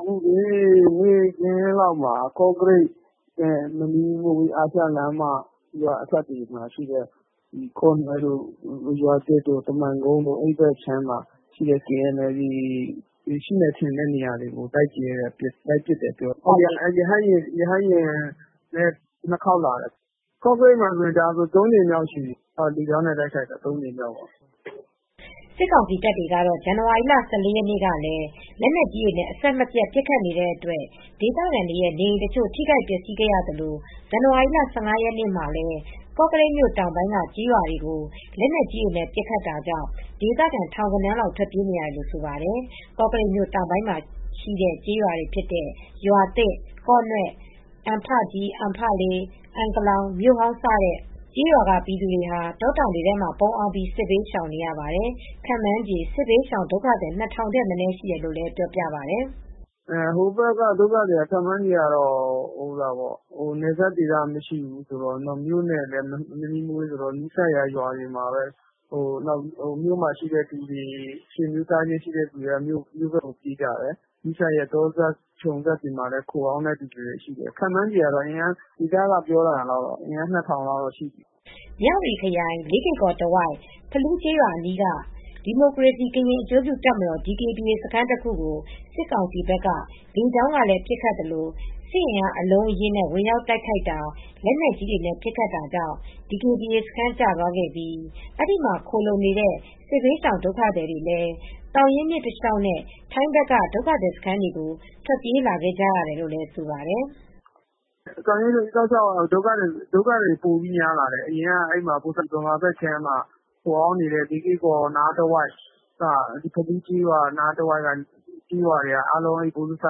“နေ့ခင်းလောက်မှာ ကော့ကရိတ်နဲ့ မနီးမဝေး အာရှလမ်းမ ရွာအစပ်တွေမှာရှိတဲ့ ကော့နွဲ့တို့ ရွာသစ်တို့ ကမိုင်ကုန်းတို့ အဲဒီဘက်က KNLA တပ်တွေ ရှိတယ်ထင်တဲ့ နေရာကို လိုက်ပစ်တယ်၊ ရဟတ်ယာဉ်နဲ့ ၂ ခေါက်လာတယ်။ ကော့ကရိတ်မှာ အခုတိုက်တာဆို ၃ ကြိမ်လောက်ရှိပြီ။ လေကြောင်းနဲ့ တိုက်ခိုက်တာ ၃ ကြိမ်ရှိပြီ။” စစ်ကောင်စီတပ်တွေကတော့ ဇန်နဝါရီလ ၁၄ ရက်နေ့ကလည်း လက်နက်ကြီးတွေနဲ့ အဆက်မပြတ် ပစ်ခတ်နေတဲ့အတွက် ဒေသခံတွေရဲ့ နေအိမ်တချို့ ထိခိုက်ပျက်စီးခဲ့ရသလို ဇန်နဝါရီလ ၁၅ ရက်နေ့မှာလည်း ကော့ကရိတ်တောင်ပိုင်းက ကျေးရွာတွေကို လက်နက်ကြီးနဲ့ ပစ်ခတ်တာကြောင့် ဒေသခံ ထောင်ဂဏန်းလောက်ဟာ ထွက်ပြေးနေရတယ်လို့ ဆိုပါတယ်။ ကော့ကရိတ်မြို့ တောင်ပိုင်းမှာရှိတဲ့ ကျေးရွာတွေဖြစ်တဲ့ ရွာသစ်၊ ကေ့ာနွဲ့၊ အံဖကြီး၊ အံဖလေး၊ အံကလောင်၊ မြို့ဟောင်း စတဲ့ ကျေးရွာက ပြည်သူတွေဟာ တောတောင်တွေထဲမှာ ပုန်းအောင်းပြီး စစ်ဘေးရှောင်နေရပါတယ်။ ခန့်မှန်းခြေ စစ်ဘေးရှောင်ဒုက္ခသည် ၂,၀၀၀ ထက်မနည်း ရှိတယ်လို့လည်း ပြောပါတယ်။ “ကော့ကရိတ်ဘက် ကျေးရွာတွေဖြစ်တဲ့ ကော့ကရိတ်ဘက်က ဒုက္ခသည်တွေကတော့ ခန့်မှန်းခြေကတော့ နယ်စပ်တွေကမရှိ၊ မြို့နဲ့မနီးမဝေးဆိုတော့ မြို့မှာ ဆွေမျိုးသားချင်းရှိတဲ့ နေရာတွေမှာ ခိုအောင်းတာရှိတယ်။ တောတောင်တွေထဲ ခြုံစပ် တောစပ်တွေမှာ ခန့်မှန်းခြေအရ ဒေသခံတွေ ပြောတာတော့ လူဦးရေ ၂,၀၀၀ လောက်ရှိတယ်။” မြဝတီခရိုင် လေးကေ့ကော်တဝိုက် ဖလူးကျေးရွာအနီးက ဒီမိုကရေစီ ကရင်အကျိုးပြုတပ်မတော် DKBA စခန်းတခုကို စစ်ကောင်စီဘက်က လေကြောင်းကလည်း ပစ်ခတ်သလို စစ်အင်အား အလုံးအရင်းနဲ့ ဝင်ရောက်တိုက်ခိုက်တာ၊ လက်နက်ကြီးတွေနဲ့ ပစ်ခတ်တာတွေကြောင့် DKBA စခန်း ကျသွားခဲ့ပြီး အဲဒီမှာ ခိုလှုံနေတဲ့ စစ်ရှောင်ဒုက္ခသည်တွေလည်း သောင်ရင်းမြစ်တလျှောက်နဲ့ ထိုင်းဘက်က ဒုက္ခသည်စခန်းကို ထွက်ပြေးလာခဲ့ကြရတယ်လို့လည်း ဆိုပါတယ်။ “သောင်ရင်းတလျှောက်ကတော့ ဒုက္ခသည်တွေ ပိုများလာတယ်။ အရင်က မြန်မာဘက်ခြမ်းက ခိုအောင်းနေတဲ့ လေးကေ့ကော်နားတဝိုက် ဖလူးကျေးရွာတဝိုက်က လူတွေက ဗိုလ်စ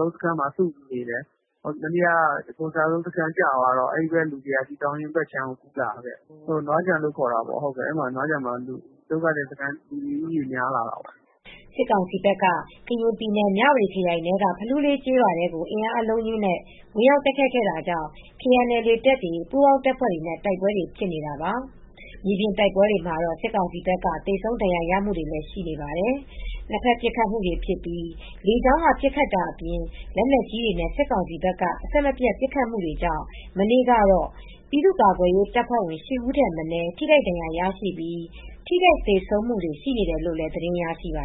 လုံးစခန်းမှာပဲ နေကြတယ်။ အခု ဗိုလ်စလုံးစခန်း ကျသွားတဲ့အခါကျတော့ လူတွေက ပိုများလာတယ်။ သောင်ရင်းမြစ် တဖက်ခြမ်းကို ကူးလာတယ်။ ထိုင်းဘက်ခြမ်း နွားခြံဘက်မှာလည်း လူဦးရေ ပိုများလာတာပေါ့။” စစ်ကောင်စီဘက်က ကရင်ပြည်နယ် မြဝတီခရိုင်ထဲက ဖလူးလေးကျေးရွာထဲကို အင်အားအလုံးအရင်းနဲ့ ဝင်ရောက်တိုက်ခိုက်ခဲ့တာကြောင့် KNLA တပ်တွေ ပူးပေါင်းတပ်ဖွဲ့တွေနဲ့ တိုက်ပွဲဖြစ်နေတာပါ။ မြေပြင်တိုက်ပွဲတွေမှာတော့ စစ်ကောင်စီဘက်က သေဆုံးဒဏ်ရာရမှုတွေလည်း ရှိနေပါတယ်။ နှစ်ဖက်ပစ်ခတ်မှုတွေဖြစ်ပြီး လေကြောင်းက ပစ်ခတ်တာအပြင် လက်နက်ကြီးတွေနဲ့ စစ်ကောင်စီဘက်က အဆက်မပြတ် ပစ်ခတ်မှုတွေကြောင့် မနေ့ကတော့ ပြည်သူ့ကာကွယ်ရေးတပ်ဖွဲ့ဝင် ၈ ဦးထက်မနည်း ထိခိုက်ဒဏ်ရာရရှိပြီး ထိခိုက်သေဆုံးမှုတွေလည်း ရှိတယ်လို့ သတင်းရရှိပါ